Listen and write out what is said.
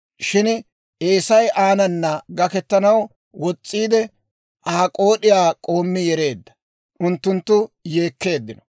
Shin Eesay aanana gaketanaw wos's'iide, Aa k'ood'iyaa k'oommi yereedda. Unttunttu yeekkeeddino.